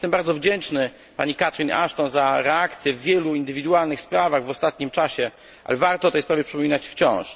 Jestem bardzo wdzięczny pani Catherine Ashton za reakcję w wielu indywidualnych sprawach w ostatnim czasie, ale warto o tej sprawie przypominać wciąż.